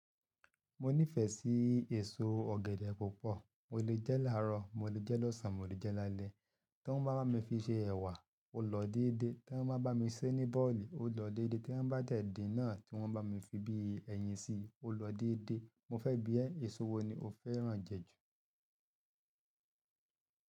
Mo nífẹ̀ẹ́ sí èso ọ̀gẹ̀dẹ̀ púpọ̀. Mo lè jẹ́ láàárọ̀, mo lè jẹ́ lọ́sàn-án, mo lè jẹ́ lálẹ́. Tí wọ́n bá bá mi fi ṣe ẹ̀wà, ó lọ dédé. Tí wọ́n bá bá mi ṣé ní bọ́ọ̀lì, ó lọ dédé. Tí wọ́n bá de dín nà, tí wọ́n bá mi fi bí i ẹyin sí i, ó lọ dédé. Mo fẹ́ bí ẹ, èso wo ni o fẹ́ràn jẹ jù?